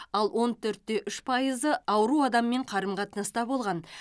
ал он төрт те үш пайызы ауру адаммен қарым қатынаста болған